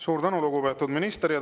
Suur tänu, lugupeetud minister!